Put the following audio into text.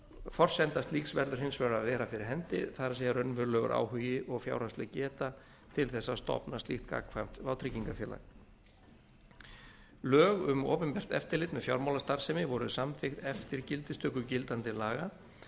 forsenda slíks verður hins vegar að vera fyrir hendi það er raunverulegur áhugi og fjárhagsleg geta til þess að stofna slíkt gagnkvæmt vátryggingafélag lög um opinbert eftirlit með fjármálastarfsemi voru samþykkt eftir gildistöku gildandi laga